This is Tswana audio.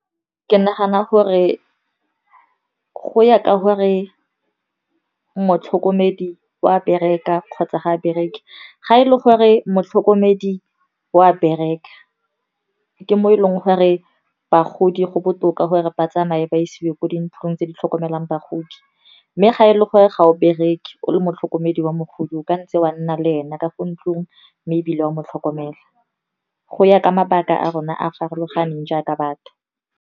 Ke nagana gore go ya ka gore motlhokomedi wa bereka kgotsa ga bereke. Ga e le gore motlhokomedi wa bereka, ke mo e leng gore bagodi go botoka gore ba tsamaye ba isiwe kwa dintlong tse di tlhokomelang bagodi. Mme ga e le gore ga o bereke, o le motlhokomedi wa mogodi, o ka ntse wa nna le ena ka fo ntlong, mme ebile o a mo tlhokomela. Go ya ka mabaka a rona a a farologaneng jaaka batho.